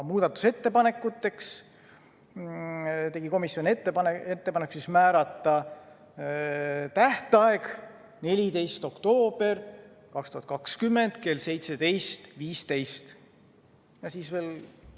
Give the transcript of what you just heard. Muudatusettepanekute esitamise tähtajaks tegi komisjon ettepaneku määrata 14. oktoober 2020 kell 17.15.